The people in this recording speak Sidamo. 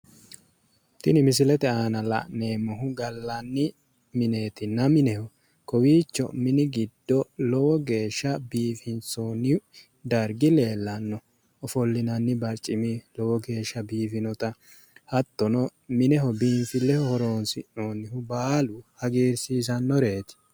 Tini misilete aana la'neemohu gallani mineetna mineho kowiicho mini giddo lowo geesha bifinisooni darigi leelanno ofolinanni baricimi lowo geesha biifinota Hattono mineho biinifileho horonisi'noonita baalu hagirisiisanoreet